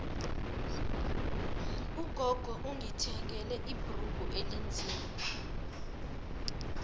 ugogo ungithengele ibhrugu elinzima